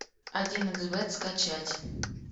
один икс бет скачать